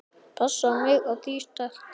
Passa mig á því sterka.